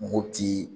Mopti